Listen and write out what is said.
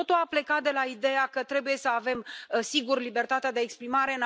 Totul a plecat de la ideea că trebuie să avem, sigur, libertatea de exprimare.